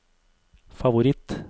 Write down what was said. favoritt